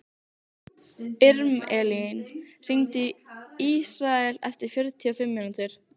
Irmelín, hringdu í Ísrael eftir fjörutíu og fimm mínútur.